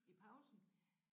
I pausen